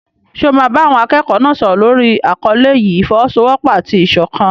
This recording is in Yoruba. Ṣé o máa bá àwọn akẹ́kọ̀ọ́ náà sọ̀rọ̀ lórí àkọlé yìí "ìfọ́wọ́sọwọ́pọ̀ àti ìṣọ̀kan"?